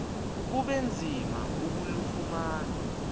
kube nzima ukulufumana